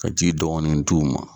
Ka ji dɔɔni d'u ma.